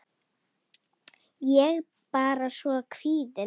Ég er bara svo kvíðin.